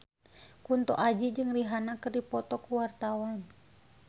Kunto Aji jeung Rihanna keur dipoto ku wartawan